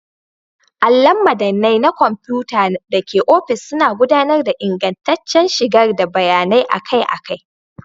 Allon madannai na kwamfuta da ke ofis suna gudanar da ingantaccen shigar da bayanai akai-akai.